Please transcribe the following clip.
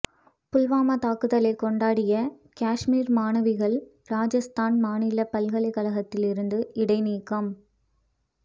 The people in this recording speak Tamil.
புல்வாமா தாக்குதலை கொண்டாடிய காஷ்மீர் மாணவிகள் ராஜஸ்தான் மாநில பல்கலைக்கழகத்தில் இருந்து இடைநீக்கம்